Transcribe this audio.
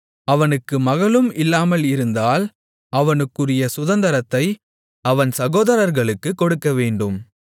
அவனுக்குக் மகளும் இல்லாமல் இருந்தால் அவனுக்குரிய சுதந்தரத்தை அவன் சகோதரர்களுக்குக் கொடுக்கவேண்டும்